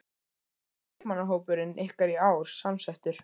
Hvernig er leikmannahópurinn ykkar í ár samsettur?